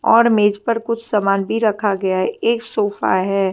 और मेज पर कुछ सामान भी रखा गया है एक सोफ़ा है।